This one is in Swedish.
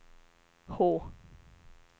H